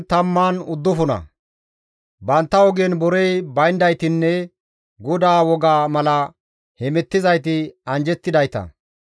Bantta ogen borey bayndaytinne GODAA wogga mala hemettizayti anjjettidayta.